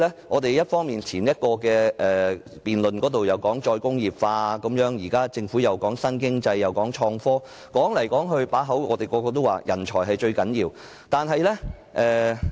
我們在先前的辯論中提到"再工業化"，現時政府又談及新經濟和創科，說到底，我們始終認為人才是最重要的。